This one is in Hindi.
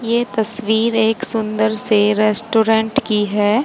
ये तस्वीर एक सुंदर से रेस्टोरेंट की है।